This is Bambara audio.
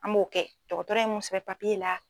An b'o kɛ dɔgɔtɔrɔ ye mu sɛbɛn papiye la